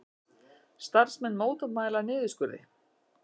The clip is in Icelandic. Starfsmenn mótmæla niðurskurði